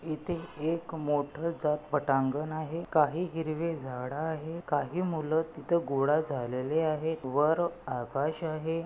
इथे एक मोठ पटांगण आहे काही हिरवे झाड आहे. काही मूल तिथे घोडा झालेले आहेत. वर आकाश आहे.